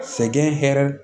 Sɛgɛn hɛrɛ